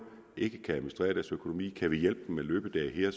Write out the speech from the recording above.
ikke kan administrere deres økonomi kan vi hjælpe dem med løbedage her